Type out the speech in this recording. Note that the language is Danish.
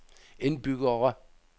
indbyggere